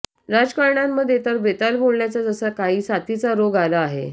राजकारण्यांमध्ये तर बेताल बोलण्याचा जसा काही साथीचा रोग आला आहे